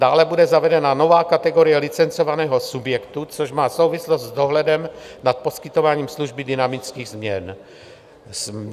Dále bude zavedena nová kategorie licencovaného subjektu, což má souvislost s dohledem nad poskytováním služby dynamických změn.